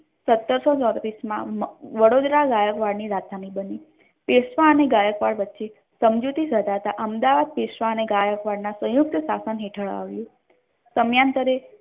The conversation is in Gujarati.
સતરસો ચોત્રીસ મા વડોદરા ગાયકવાડ ની રાજધાની બની પેશવા નાને ગાયકવાડ વચ્ચે સંમજૌતી અહેમદાબાદ પેશવા અને ગાયકવાડ ના સયુંકત શાસન હેઠળ આવ્યુ સમયાંતરે